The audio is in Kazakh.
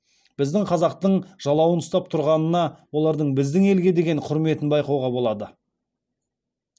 біздің қазақтың жалауын ұстап тұрғанына олардың біздің елге деген құрметін байқауға болады